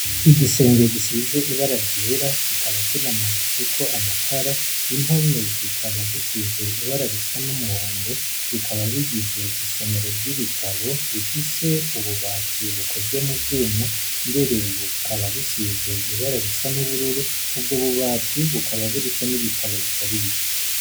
Igisenge gisize ibara ryera kikaba kinamanitse ko amatara ,impome zikaba zisize ibara risa n'umuhondo, bikaba bigize isomero ry'ibitabo rifise ububati bukozwe muvyuma, mbere bukaba bisize ibara risa n'ubururu, ubwo bubati bukaba buriko n'ibitabo bitari bike.